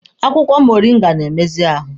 Akwụkwọ moringa na-emezi ahụ